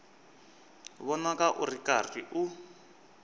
vonaka u ri karhi u